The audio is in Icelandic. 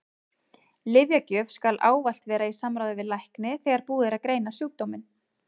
Lyfjagjöf skal ávallt vera í samráði við lækni þegar búið er að greina sjúkdóminn.